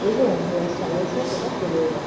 এবং hair stylers -রা সেটা করেও দেয়।